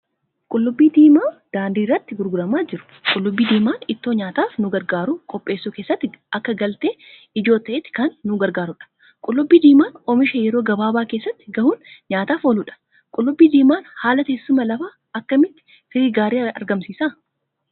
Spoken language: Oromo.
Qullubbii diimaa daandii irratti gurguramaa jiru. Qullubbii diimaan ittoo nyaataaf nu gargaaru qopheessuu keessatti akka galtee ijoo ta'eetti kan nu gargaarudha. Qullubbii diimaan oomisha yeroo gabaabaa keessatti gahuun nyaataaf ooludha. Qullubbii diimaan haala teessuma lafaa akkamiitti firii gaarii argamsiisa?